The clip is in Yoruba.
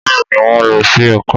Bẹ́ẹ̀ ni, wọ́n lọ sí ẹ̀ka